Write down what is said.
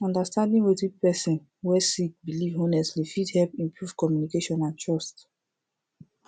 understanding wetin person wey sik biliv honestly fit hep improve communication and trust